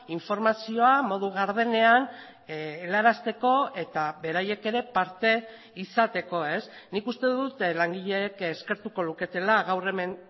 informazioa modu gardenean helarazteko eta beraiek ere parte izateko nik uste dut langileek eskertuko luketela gaur hemen